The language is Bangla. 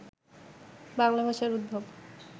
বাংলা ভাষার উদ্ভব